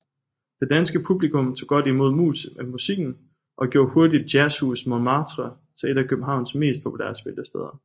Det danske publikum tog godt imod musikken og gjorde hurtigt Jazzhus Montmartre til et af Københavns mest populære spillesteder